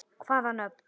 Hvaða nöfn?